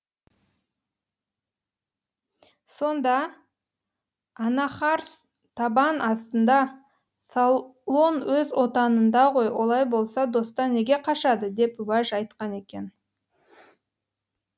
сонда анахарс табан астында солон өз отанында ғой олай болса достан неге қашады деп уәж айтқан екен